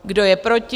Kdo je proti?